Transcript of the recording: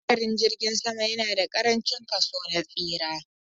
Hadarin jirgin sama yana da ƙarancin kaso na tsira